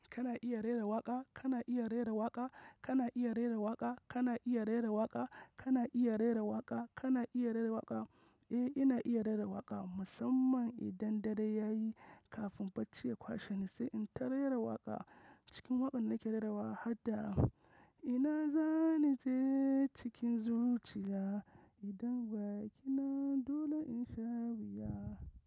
Kana iya rera waƙa? Kana iya rera waƙa? Kana iya rera waƙa? Kana iya rera waƙa? Kana iya rera waƙa? Kana iya rera waƙa? Eh, ina iya rera waƙa Musamman idan dare yayi kafin bacci ya kwashe ni, sai in ta rera waƙa. Cikin waƙan da nake rerawa har da, ina za ni je cikin zuciya, idan ba ki nan dole in sha wuya.